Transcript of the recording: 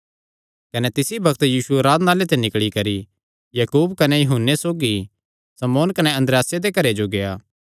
कने तिसी बग्त यीशु आराधनालय ते निकल़ी नैं याकूब कने यूहन्ने सौगी शमौन कने अन्द्रियासे दे घरे जो गेआ